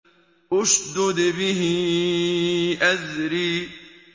اشْدُدْ بِهِ أَزْرِي